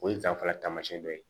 O ye danfara taamasiyɛn dɔ ye